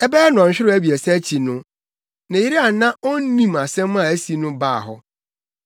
Ɛbɛyɛ nnɔnhwerew abiɛsa akyi no, ne yere a na onnim asɛm a asi no baa hɔ.